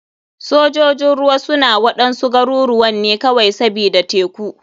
Sojojin ruwa suna waɗansu garuruwan ne kawai sbida teku.